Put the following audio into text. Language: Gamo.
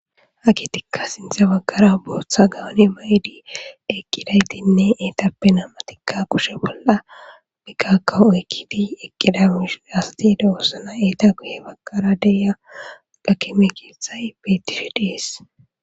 hakitikka sinthe baggara booththa gawune ma7idi eqqidaytinne eetappe namatikka kushe bolla biqaka oykkidi eqqida mushin hasatiida oossna eeta guye baggara deya gakeme keethayi beetishi dees